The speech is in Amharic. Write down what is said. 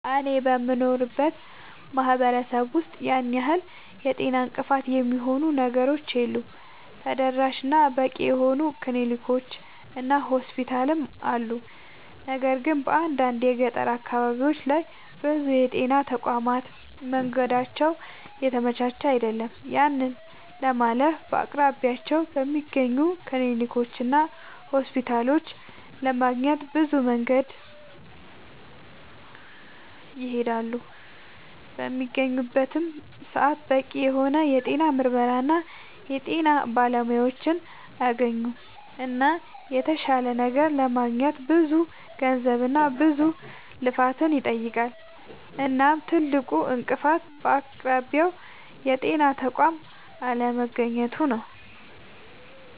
አኔ በምኖርበት ማህበረሰብ ውስጥ ያን ያህል የጤና እንቅፋት የሚሆኑ ነገሮች የሉም ተደራሽ እና በቂ የሆኑ ክሊኒኮች እና ሆስፒታሎችም አሉ። ነገር ግን በአንዳንድ የገጠር አካባቢዎች ላይ ብዙ የጤና ተቋማት መንገዳቸው የተመቻቸ አይደለም። ያንን ለማለፍ በአቅራቢያቸው በሚገኙ ክሊኒኮችና ሆስፒታሎች ለማግኘት ብዙ መንገድን ይሄዳሉ። በሚያገኙበትም ሰዓት በቂ የሆነ የጤና ምርመራና የጤና ባለሙያዎችን አያገኙምና የተሻለ ነገር ለማግኘት ብዙ ገንዘብና ብዙ ልፋትን ይጠይቃል። እናም ትልቁ እንቅፋት በአቅራቢያው የጤና ተቋም አለማግኘቱ ነዉ